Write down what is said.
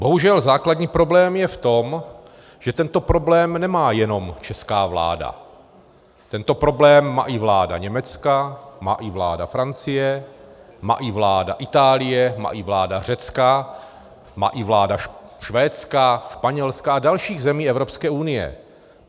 Bohužel základní problém je v tom, že tento problém nemá jenom česká vláda, tento problém má i vláda Německa, má i vláda Francie, má i vláda Itálie, má i vláda Řecka, má i vláda Švédska, Španělska a dalších zemí Evropské unie.